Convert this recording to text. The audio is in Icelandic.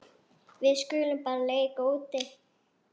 Við skulum bara leika úti.